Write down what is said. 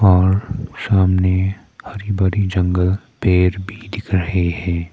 और सामने हरी भरी जंगल और पेड़ भी दिख रहे हैं।